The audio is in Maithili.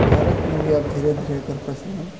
भारत में भी आब धीरे-धीरे एकर प्रचलन --